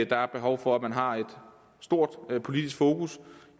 der er behov for at man har et stort politisk fokus